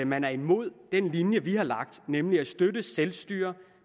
man er imod den linje vi har lagt nemlig at støtte selvstyre